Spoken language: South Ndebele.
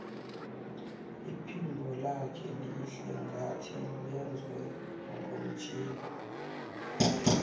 iphimbo lakhe lihle ngathi lenzwe ngomtjhini